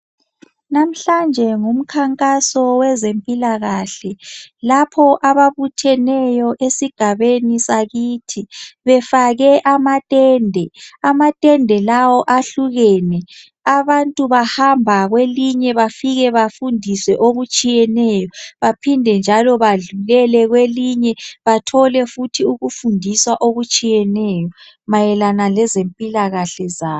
Namhlanje ngumkhankaso wezempilakahle lapho ababuttheneyo esigabeni sakithi, befake amatende, amatende lawo ehlukene. Abantu bahamba kwelinye bafike bafundiswe okutshiyeneyo, baphinde njalo badlulele kwelinye. Bathole futhi ukufundiswa okutshiyeneyo mayelana lezempila kahle zabo.